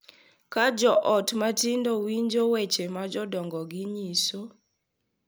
Ka jo ot matindo winjo weche ma jodongogi nyiso, .